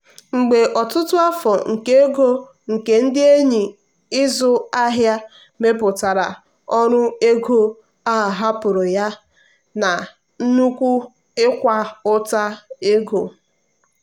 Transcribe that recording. mgbe ọtụtụ afọ nke ego nke ndị enyi 'ịzụ ahịa mmepụta ọrụ ego a hapụrụ ya na nnukwu ịkwa ụta ego.